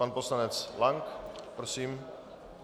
Pan poslanec Lank, prosím.